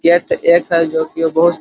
gate एक side जो कि वो बहुत --